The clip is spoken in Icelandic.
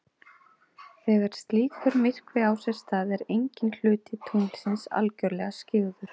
Þegar slíkur myrkvi á sér stað er enginn hluti tunglsins algjörlega skyggður.